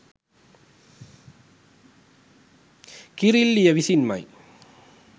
කිරිල්ලිය විසින්මයි.